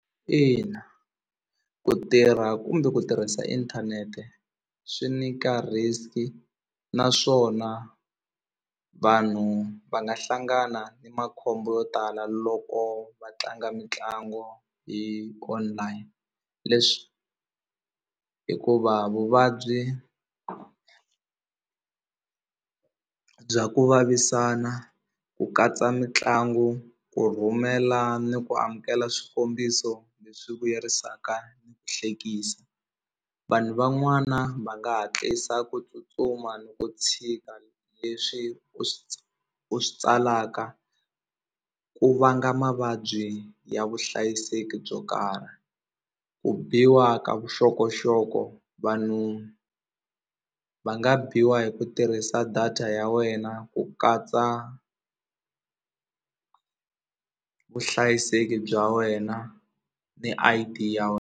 Ina ku tirha kumbe ku tirhisa inthanete swi nyika risk naswona vanhu va nga hlangana makhombo yo tala loko va tlanga mitlangu hi online leswi hikuva vuvabyi bya ku vavisana ku katsa mitlangu ku rhumela ni ku amukela swikombiso leswi vuyerisaka ni ku hlekisa vanhu van'wana va nga hatlisa ku tsutsuma ni ku tshika leswi u u swi tsalaka ku vanga mavabyi ya vuhlayiseki byo karhi ku biwa ka vuxokoxoko vanhu va nga biwa hi ku tirhisa data ya wena ku katsa vuhlayiseki bya wena ni I_D ya .